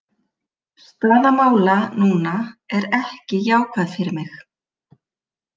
Staða mála núna er ekki jákvæð fyrir mig.